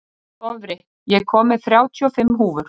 Dofri, ég kom með þrjátíu og fimm húfur!